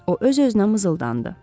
O öz-özünə mızıldandı.